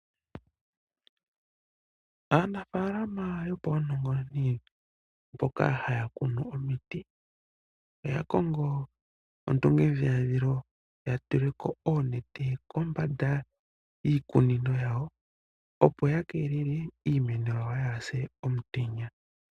Aanafaalama yopaunongononi mboka haya kunu omiti, oya kongo ondungendhilandhilo ya tule ko oonete kombanda yiikunino yawo, opo ya keelele iimeno yawo yaase komutenya.